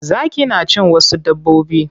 Zaki na cin wasu dabbobin.